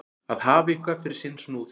Að hafa eitthvað fyrir sinn snúð